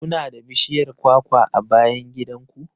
Ku na da bishiyar kwakwa a bayan gidan ku?